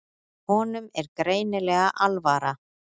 Honum er greinilega alvara.